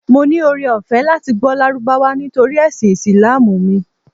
Mo ní ọrẹ ọ̀fẹ́ láti gbọ́ Lárúbáwá nítorí ẹ̀sìn Ìsìlámù mi.